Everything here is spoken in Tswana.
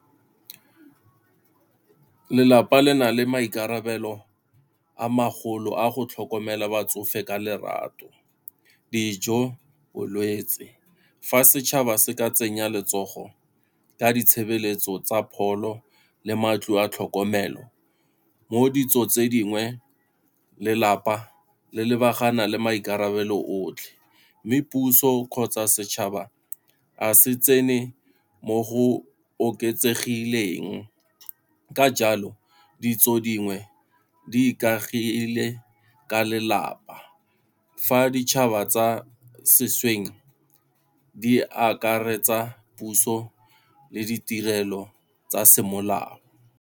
Lelapa le na le maikarabelo a magolo a go tlhokomela batsofe ka lerato, dijo, bolwetse. Fa setšhaba se ka tsenya letsogo ka ditshebeletso tsa pholo le matlo a tlhokomelo, mo ditso tse dingwe lelapa le lebagana le maikarabelo otlhe. Mme puso kgotsa setšhaba a se tsene mo go oketsegileng, ka jalo ditso dingwe di ikaegile ka lelapa fa ditšhaba tsa sešweng di akaretsa puso le ditirelo tsa semolao.